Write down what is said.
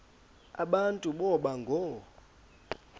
aba boba ngoo